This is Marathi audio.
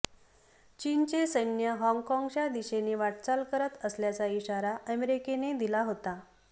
चीनचे सैन्य हाँगकाँगच्या दिशेने वाटचाल करत असल्याचा इशारा अमेरिकेने दिला होता